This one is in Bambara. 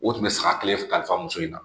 O tun bɛ saga kelen kalifa muso in na